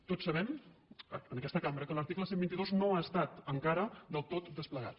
tots sabem en aquesta cambra que l’article cent i vint dos no ha estat encara del tot desplegat